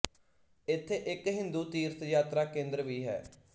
ਇਥੇ ਇੱਕ ਹਿੰਦੂ ਤੀਰਥ ਯਾਤਰਾ ਕੇਂਦਰ ਵੀ ਹੈ